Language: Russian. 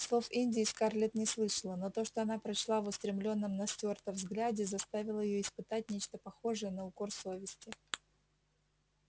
слов индии скарлетт не слышала но то что она прочла в устремлённом на стюарта взгляде заставило её испытать нечто похожее на укор совести